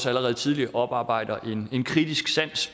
allerede tidligt oparbejder en kritisk sans